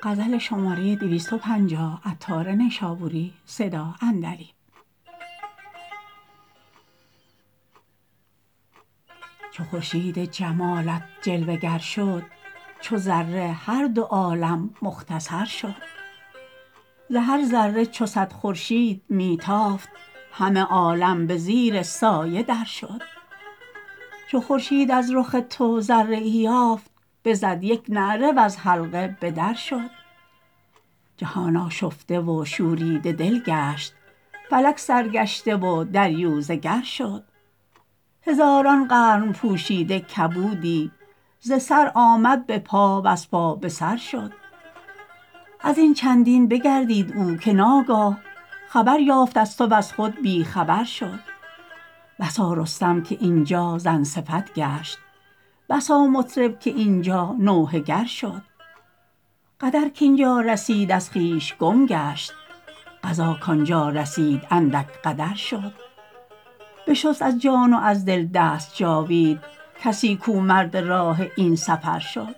چو خورشید جمالت جلوه گر شد چو ذره هر دو عالم مختصر شد ز هر ذره چو صد خورشید می تافت همه عالم به زیر سایه در شد چو خورشید از رخ تو ذره ای یافت بزد یک نعره وز حلقه به در شد جهان آشفته و شوریده دل گشت فلک سرگشته و دریوزه گر شد هزاران قرن پوشیده کبودی ز سر آمد به پا وز پا به سر شد ازین چندین بگردید او که ناگاه خبر یافت از تو وز خود بی خبر شد بسا رستم که اینجا زن صفت گشت بسا مطرب که اینجا نوحه گر شد قدر کاینجا رسید از خویش گم گشت قضا کانجا رسید اندک قدر شد بشست از جان و از دل دست جاوید کسی کو مرد راه این سفر شد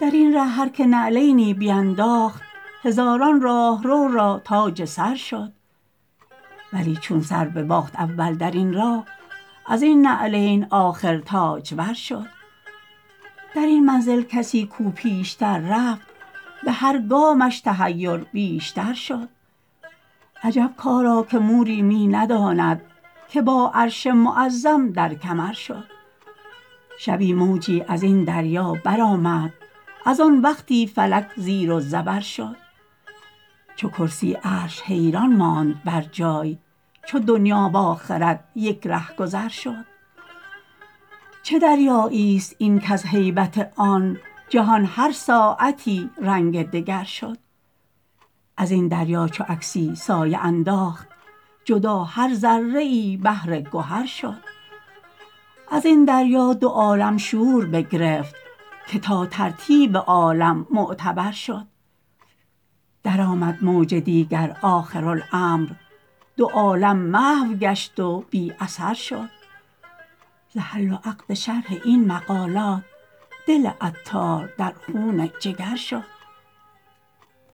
درین ره هر که نعلینی بینداخت هزاران راهرو را تاج سر شد ولی چون سر بباخت اول درین راه ازین نعلین آخر تاجور شد درین منزل کسی کو پیشتر رفت به هر گامش تحیر بیشتر شد عجب کاری که موری می نداند که با عرش معظم در کمر شد شبی موجی ازین دریا برآمد از آن وقتی فلک زیر و زبر شد چو کرسی عرش حیران ماند برجای چو دنیا و آخرت یک ره گذر شد چه دریایی است این کز هیبت آن جهان هر ساعتی رنگ دگر شد ازین دریا چو عکسی سایه انداخت جدا هر ذره ای بحر گهر شد ازین دریا دو عالم شور بگرفت که تا ترتیب عالم معتبر شد درآمد موج دیگر آخرالامر دو عالم محو گشت و بی اثر شد ز حل و عقد شرح این مقالات دل عطار در خون جگر شد